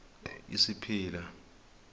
isipila